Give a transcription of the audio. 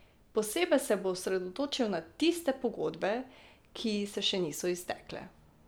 Posebej se bo osredotočil na tiste pogodbe, ki se še niso iztekle.